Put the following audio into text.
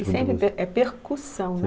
E sempre pe, é percussão, né?